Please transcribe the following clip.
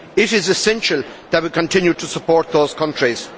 It is essential that we continue to support those countries.